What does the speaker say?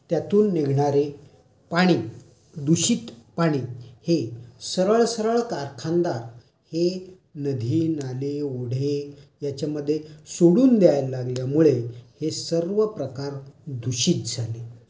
कचरा निर्माण होऊ लागला. कारखानदारी ही खूप मोठ्या प्रमाणात वाढली. त्याच्यामुळे कारखान्यातून निघणारे निरनिराळे विषारी द्रव्य किंवा वायु किंवा त्यातून निघणारे पाणी दूषित पाणी हे सरळसरळ कारखानदार हे नदी, नाले, ओढे याच्यामध्ये सोडून द्यायला लागल्यामुळे हे सर्व प्रकार दूषित झाले.